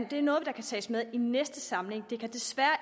det er noget der kan tages med i næste samling det kan desværre